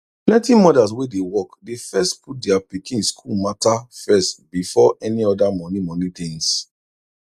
plenty mothers wey dey work dey first put dia pikin school mata first before any oda moni moni tins